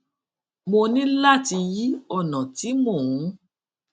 mo ní láti yí ònà tí mò ń